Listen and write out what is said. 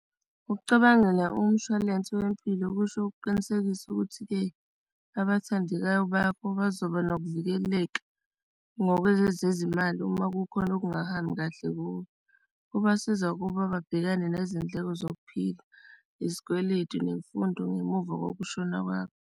Ucabangela umshwalense wempilo kusho ukuqinisekisa ukuthi-ke abathandekayo bakho bazoba nokuvikeleka ngokwezezimali uma kukhona okungahambi kahle kuwe. Kubasiza ukuba babhekane nezindleko zokuphila, izikweletu, nemfundo ngemuva kokushona kwakho.